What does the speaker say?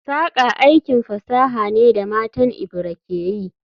Saƙa aikin fasaha ne da matan Ebira ke yi